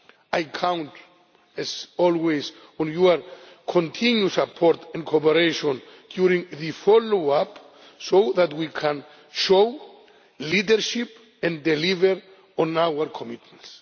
I count as always on your continued support and cooperation during the follow up so that we can show leadership and deliver on our commitments.